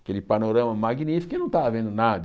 Aquele panorama magnífico e eu não estava vendo nada.